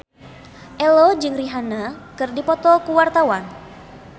Ello jeung Rihanna keur dipoto ku wartawan